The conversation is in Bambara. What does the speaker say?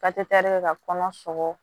kɛ ka kɔnɔ sɔgɔ